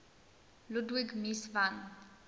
ludwig mies van